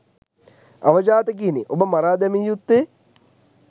අවජාතකයිනි ඔබ මරා දැමිය යුත්තේ